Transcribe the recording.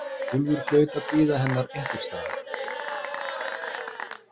Úlfur hlaut að bíða hennar einhvers staðar.